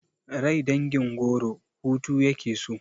Rai dangin goro hutu yake so